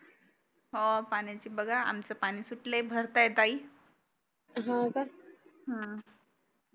हो पाण्याची बघा आमचंपाणी सुटलय भरता आहे ताई हम्म